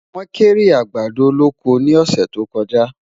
wón kéré àgbàdo lọkọ ní ọsẹ tó kojá